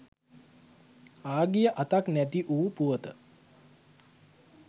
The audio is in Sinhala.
ආ ගිය අතක් නැති වූ පුවත